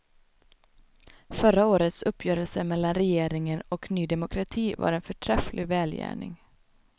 Förra året uppgörelse mellan regeringen och ny demokrati var en förträfflig välgärning.